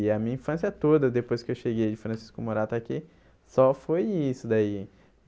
E a minha infância toda, depois que eu cheguei de Francisco Morata aqui, só foi isso daí.